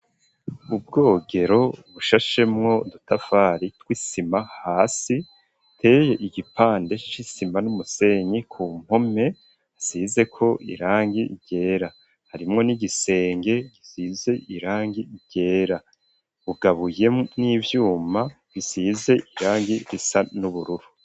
Ubwogero bushashemwo udutafari tw'isima hasi iteye igipande c'isima n'umusenyi ku mpome hasizeko irangi ryera harimwo n'igisenge gisize irangi ryera ugabuye n'ivyuma bisize irangi risa n'ubururu.